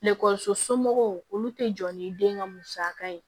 somɔgɔw olu te jɔ ni den ka musaka ye